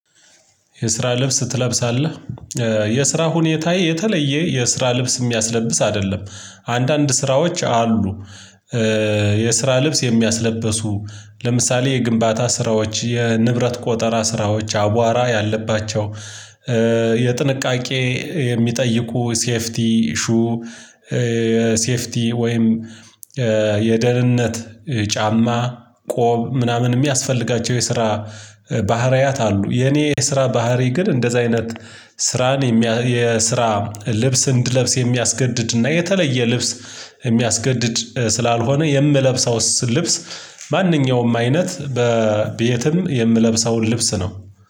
የስራ ልብስ ትለብሳለህ? የስራ ሁኔታ የተለየ የስራ ልብስ የሚያስለብስ አይደለም አንዳንድ ስራዎች አሉ የስራ ልብስ የሚያስለብሱ ለምሳሌ የግንባታ ስራዎች የንብረት ቆጠራ ስራዎች አቧራ ያለባቸው የጥንቃቄ የሚጠይቁ ሴፍቲ ሹ ሴፍቲ ወይም የደህንነት ጫማ ቆብ ምናምን የሚያስፈልጋቸው የስራ ባህሪያት አሉ የኔ የስራ ባህሪ ግን እንደዚህ አይነት ስራን የስራ ልብስ እንድለብስ የሚያስገድድና የተለየ ልብስ የሚያስገድድ ስላልሆነ የምለብሰው ልብስ ማንኛውም አይነት ቤየትም የምለብሰውን ልብስ ነው